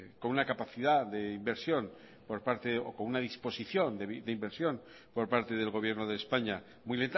con una capacidad de inversión por parte o con una disposición de inversión por parte del gobierno de españa muy